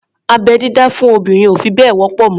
Abẹ́-dídá fún obìnrin ò fi bẹ́ẹ̀ wọ́pọ̀ mọ́.